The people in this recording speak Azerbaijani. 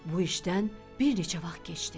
Bu işdən bir neçə vaxt keçdi.